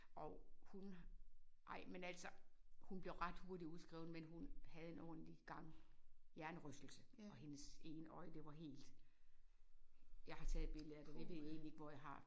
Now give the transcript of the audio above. Og hun ej men altså hun blev ret hurtigt udskrevet men hun havde en ordentlig gang hjernerystelse og hendes ene øje det var helt jeg har taget et billede af det jeg ved egentlig ikke hvor jeg har